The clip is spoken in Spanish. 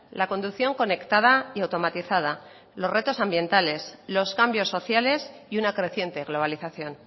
la conducción conectada y automatizada los retos ambientales los cambios sociales y una creciente globalización